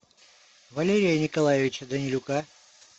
валерия николаевича данилюка